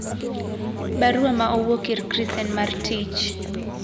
Baruwa ma owuok ir chris en mar tich.